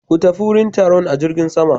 Ku tafi wurin taron a jirgin sama.